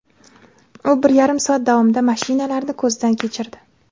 U bir yarim soat davomida mashinalarni ko‘zdan kechirdi.